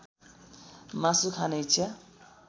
मासु खाने इच्छा